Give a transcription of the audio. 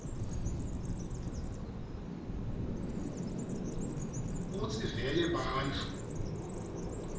kutsi vele bantfu